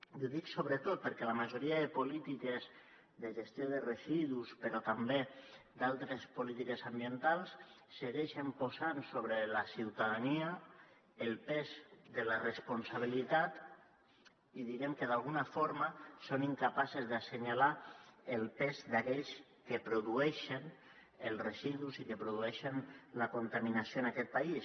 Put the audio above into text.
i ho dic sobretot perquè la majoria de polítiques de gestió de residus però també altres polítiques ambientals segueixen posant sobre la ciutadania el pes de la responsabilitat i d’alguna forma són incapaces d’assenyalar el pes d’aquells que produeixen els residus i que produeixen la contaminació en aquest país